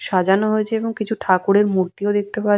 সাজানো হয়েছে এবং কিছু ঠাকুরের মূর্তিও দেখতে পা--